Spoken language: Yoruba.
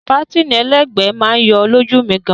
Pátìnì ẹlẹ́gbẹ̀ẹ́ máa yọ lójú mi gan.